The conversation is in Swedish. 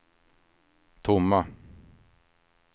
tomma